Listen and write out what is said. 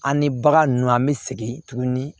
An ni bagan ninnu an bɛ segin tuguni